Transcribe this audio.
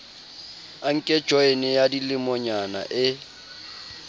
anke joyene ya dilemonyana e